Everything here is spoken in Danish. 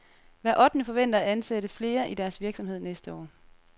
Hver ottende forventer at ansætte flere i deres virksomhed til næste år.